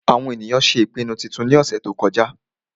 àwọn ènìyàn ṣé ìpinnu titun ní ọ̀sẹ̀ tó kọjá